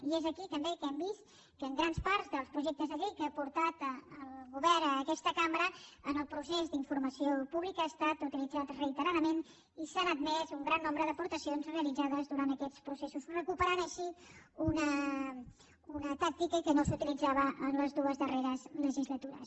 i és aquí també que hem vist que en grans parts dels projectes de llei que ha portat el govern a aquesta cambra en el procés d’informació pública ha estat utilitzat reiteradament i s’han admès un gran nombre d’aportacions realitzades durant aquests processos recuperant així una tàctica que no s’utilitzava en les dues darreres legislatures